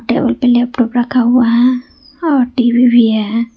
Table पे laptop रखा हुआ है और टी_वी भी है।